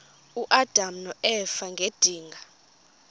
uadam noeva ngedinga